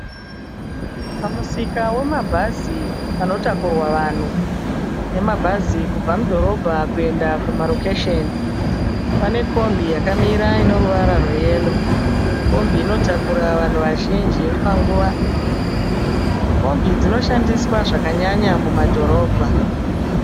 Pamusika wemabhazi panotakurwa vanhu nemabhza kubva mudhorobha kuenda kumarokesheni. Pane kombi yakamira ine ruvara rweyero. Kombi inotakura vanhu vazhinji panguva. Kombi dzinoshandiswa zvakanyanya mumadhorobha.